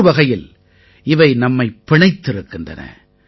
ஒருவகையில் இவை நம்மைப் பிணைத்திருக்கின்றன